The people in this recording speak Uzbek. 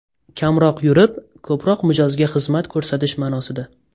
Kamroq yurib, ko‘proq mijozga xizmat ko‘rsatish ma’nosida.